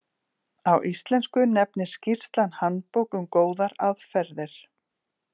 Á íslensku nefnist skýrslan Handbók um góðar aðferðir.